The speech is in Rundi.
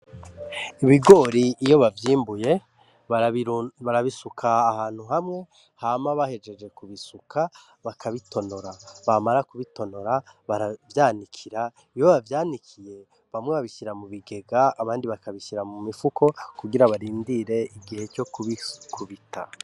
Ibigori iyo bavyimbuye barabisuka ahantu hamwe hama bahejeje ku bisuka, bakabitonora. Bamara kubitonora, baravyanikira, iyo bavyanikiye bamwe babishira mu bigega abandi bakabishira mu mifuko kugira barindire igihe co kubita.